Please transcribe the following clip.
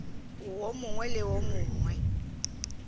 wo mongwe le wo mongwe